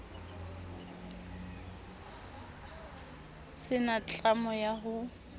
se na tlamo ya ho